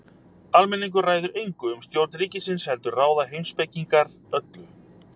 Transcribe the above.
Almenningur ræður engu um stjórn ríkisins heldur ráða heimspekingarnir öllu.